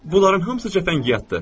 Bunların hamısı cəfəngiyatdır.